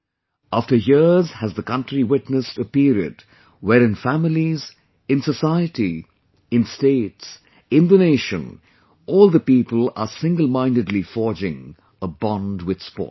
After years has the country witnessed a period where, in families, in society, in States, in the Nation, all the people are single mindedly forging a bond with Sports